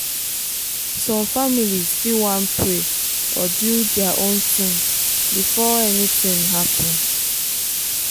some families fit wan pray or do their own thing before anything happen.